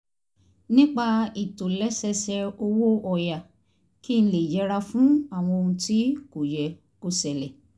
nípa ìtòlẹ́sẹẹsẹ owó ọ̀yà kí n lè yẹra fún àwọn ohun tí kò yẹ kó ṣẹlẹ̀